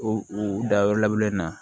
O u dayɔrɔ laban na